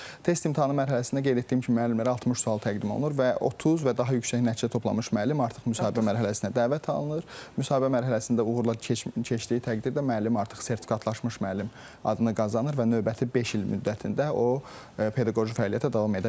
Test imtahanı mərhələsində qeyd etdiyim kimi müəllimlərə 60 sual təqdim olunur və 30 və daha yüksək nəticə toplamış müəllim artıq müsahibə mərhələsinə dəvət alınır, müsahibə mərhələsində uğurla keçdiyi təqdirdə müəllim artıq sertifikatlaşmış müəllim adını qazanır və növbəti beş il müddətində o pedaqoji fəaliyyətə davam edə bilir.